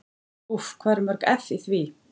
Úff hvað eru mörg eff í því?